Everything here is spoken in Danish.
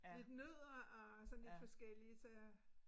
Lidt nødder og sådan lidt forskelligt så